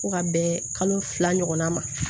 Fo ka bɛn kalo fila ɲɔgɔnna ma